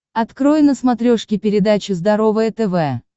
открой на смотрешке передачу здоровое тв